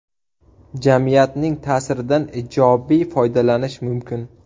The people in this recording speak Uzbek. Jamiyatning ta’siridan ijobiy foydalanish mumkin.